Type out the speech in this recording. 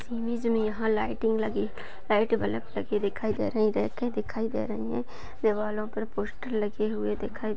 यहा लाईटिंग लगी light bulb लगी दिखाई दे रही दिखाई दे रही हैं दिवारो पर पोस्टर लगे हुए दिखाई--